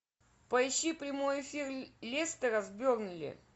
поищи прямой эфир лестера с бернли